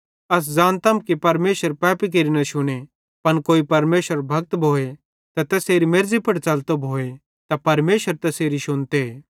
अस ज़ानतम की परमेशर पापी केरि न शुने पन कोई परमेशरेरो भक्त भोए त तैसेरे मेर्ज़ी पुड़ च़लतो भोए त परमेशर तै तैसेरी शुनते